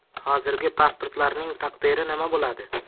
Hozirgi pasportlarning taqdiri nima bo‘ladi?